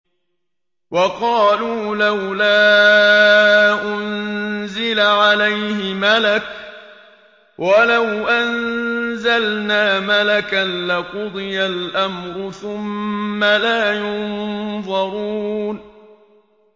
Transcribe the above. وَقَالُوا لَوْلَا أُنزِلَ عَلَيْهِ مَلَكٌ ۖ وَلَوْ أَنزَلْنَا مَلَكًا لَّقُضِيَ الْأَمْرُ ثُمَّ لَا يُنظَرُونَ